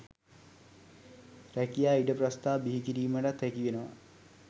රැකියා ඉඩ ප්‍රස්ථා බිහි කිරීමටත් හැකි වෙනවා